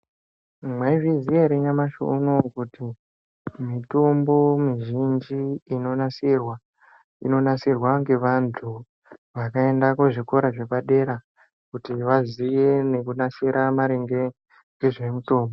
Mwaizviziya here nyamashi unowu kuti mitombo mizhinji inonasirwa, inonasirwa ngevantu vakaenda kuzvikora zvepadera, kuti vazive nekunasira maringe nezvemitombo?